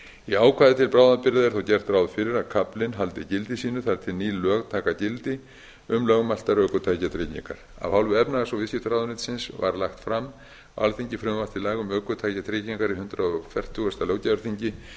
í ákvæði til bráðabirgða er þó gert ráð fyrir að kaflinn haldi gildi sínu þar til ný lög taka gildi um lögmæltar ökutækjatryggingar af hálfu efnahags og viðskiptaráðuneytisins var lagt fram á alþingi frumvarp til laga um ökutækjatryggingar á hundrað fertugasta löggjafarþingi